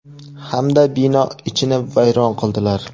hamda bino ichini vayron qildilar.